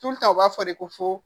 u b'a fɔ de ko fo